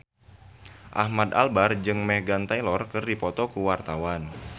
Ahmad Albar jeung Meghan Trainor keur dipoto ku wartawan